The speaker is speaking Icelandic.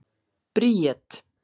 Bríet